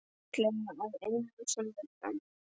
Fallega að innan sem utan.